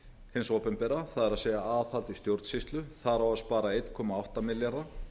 hins opinbera það er aðhald í stjórnsýslu þar á að spara eitt komma átta milljarða